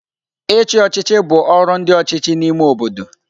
Ichi ochịchị bụ ọrụ ndi ọchịchị n'ime obodo.